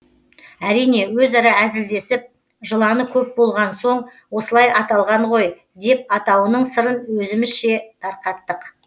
әрине өзара әзілдесіп жыланы көп болған соң осылай аталған ғой деп атауының сырын өзімізше тарқаттық